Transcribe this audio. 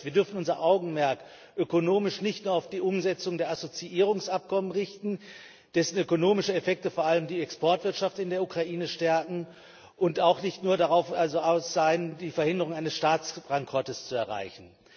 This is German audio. Das heißt, wir dürfen unser Augenmerk ökonomisch nicht nur auf die Umsetzung der Assoziierungsabkommen richten, deren ökonomische Effekte vor allem die Exportwirtschaft in der Ukraine stärken, und auch nicht nur darauf aus sein, die einen Staatsbankrott zu verhindern.